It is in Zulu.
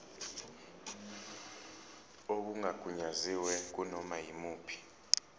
okungagunyaziwe kunoma yimuphi